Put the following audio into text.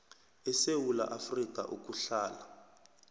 esewula afrika ukuhlala